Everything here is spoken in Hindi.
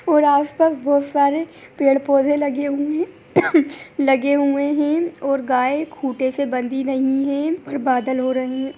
और आस पास बोहोत सारे पेड़ पौधे लगे हुए हैं | लगे हुए है और गाये खूटे से बंधी हुए हैं और बादल हो रहे है।